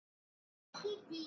Já er það!